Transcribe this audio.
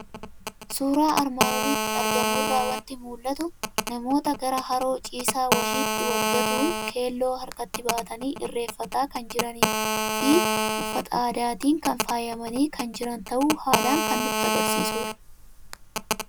Suuraa armaan olitti argamu irraa waanti mul'atu; namoota gara haroo ciisaa wahitti Wal gatuun keelloo harkatti baatani Irreeffataa kan jiranifi uffata aadaatiin kan faayamani kan jiran ta'uu haalan kan nutti agarsiisudha.